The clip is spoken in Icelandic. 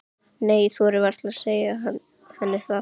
Nei, ég þori varla að segja henni það.